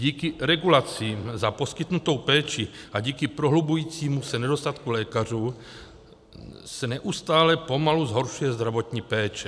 Díky regulacím za poskytnutou péči a díky prohlubujícímu se nedostatku lékařů se neustále pomalu zhoršuje zdravotní péče.